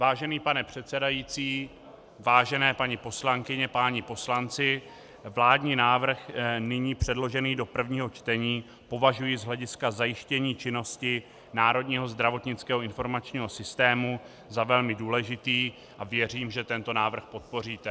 Vážený pane předsedající, vážené paní poslankyně, páni poslanci, vládní návrh, nyní předložený do prvního čtení, považuji z hlediska zajištění činnosti Národního zdravotnického informačního systému za velmi důležitý a věřím, že tento návrh podpoříte.